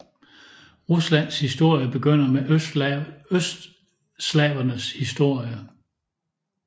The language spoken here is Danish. Ruslands historie begynder med østslavernes historie